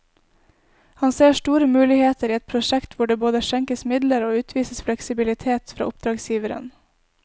Han ser store muligheter i et prosjekt hvor det både skjenkes midler og utvises fleksibilitet fra oppdragsgiveren.